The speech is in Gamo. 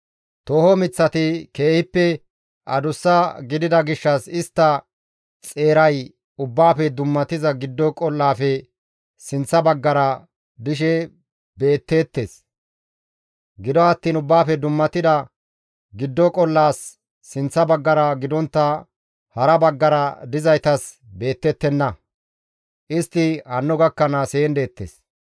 Tooho miththati keehippe adussa gidida gishshas istta xeeray Ubbaafe dummatida giddo qol7aafe sinththa baggara dishe beetteettes; gido attiin Ubbaafe dummatida giddo qol7aas sinththa baggara gidontta hara baggara dizaytas beetettenna; istti hanno gakkanaas heen deettes.